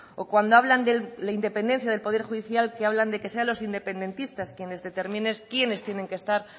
o cuando hablan de la independencia del poder judicial que hablan de que sean los independentistas quienes determinen quiénes tienen que estar